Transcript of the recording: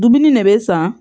Dumuni ne bɛ san